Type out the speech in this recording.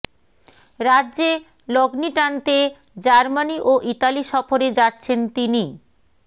রাজ্যে লগ্নি টানতে জার্মানি ও ইতালি সফরে যাচ্ছেন তিনি